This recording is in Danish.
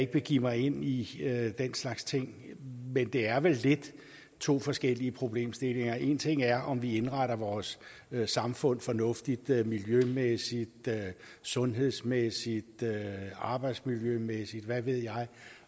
begive mig ind i den slags ting men det er vel lidt to forskellige problemstillinger en ting er om vi indretter vores samfund fornuftigt miljømæssigt sundhedsmæssigt arbejdsmiljømæssigt og hvad ved jeg